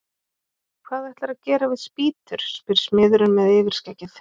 Hvað ætlarðu að gera við spýtur? spyr smiðurinn með yfirskeggið.